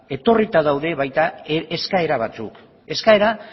etorrita daude baita eskaera batzuk eskaera